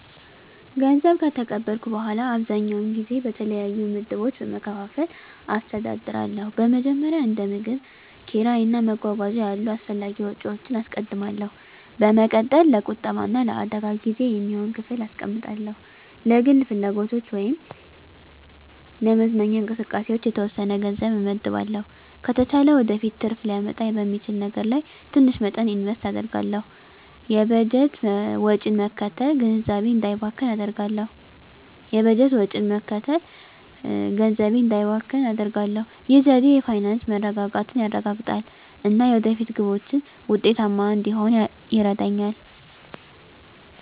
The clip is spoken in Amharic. ገንዘብ ከተቀበልኩ በኋላ, አብዛኛውን ጊዜ በተለያዩ ምድቦች በመከፋፈል አስተዳድራለሁ. በመጀመሪያ፣ እንደ ምግብ፣ ኪራይ እና መጓጓዣ ያሉ አስፈላጊ ወጪዎችን አስቀድማለሁ። በመቀጠል፣ ለቁጠባ እና ለአደጋ ጊዜ የሚሆን ክፍል አስቀምጣለሁ። ለግል ፍላጎቶች ወይም ለመዝናኛ እንቅስቃሴዎች የተወሰነ ገንዘብ እመድባለሁ። ከተቻለ ወደፊት ትርፍ ሊያመጣ በሚችል ነገር ላይ ትንሽ መጠን ኢንቨስት አደርጋለሁ። የበጀት ወጪን መከተል ገንዘቤ እንዳይባክን አደርጋሁ። ይህ ዘዴ የፋይናንስ መረጋጋትን ያረጋግጣል እና የወደፊት ግቦችን ውጤታማ እንድሆን ይረዳኛል.